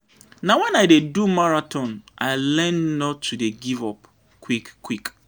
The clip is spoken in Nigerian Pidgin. Na wen I dey do marathon I learn not to dey give-up quick-quick.